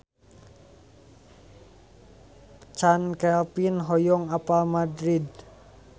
Chand Kelvin hoyong apal Madrid